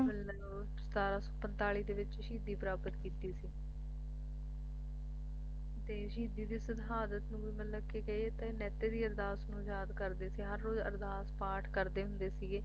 ਤੇ ਆਹ ਇਨ੍ਹਾਂ ਦੇ ਸਤਾਰਾਂ ਸੌਪੰਤਾਲੀ ਦੇ ਵਿਚ ਸ਼ਹੀਦੀ ਪ੍ਰਾਪਤ ਕੀਤੀ ਸੀ ਤੇ ਸ਼ਹੀਦੀ ਦੀ ਸ਼ਹਾਦਤ ਨੂੰ ਮਤਲਬ ਕਿ ਕਹੀਏ ਤਾਂ ਮਹਿਤੇ ਦੀ ਅਰਦਾਸ ਨੂੰ ਯਾਦ ਕਰਦੇ ਸੀ ਹਰ ਰੋਜ਼ ਅਰਦਾਸ ਪਾਠ ਕਰਦੇ ਹੁੰਦੇ ਸੀਗੇ